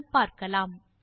என்று பார்க்கலாம்